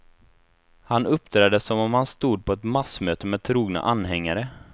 Han uppträder som om han stod på ett massmöte med trogna anhängare.